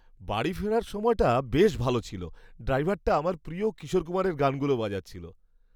বাড়ি ফেরার সময়টা বেশ ভালো ছিল। ড্রাইভারটা আমার প্রিয় কিশোর কুমারের গানগুলো বাজাচ্ছিল।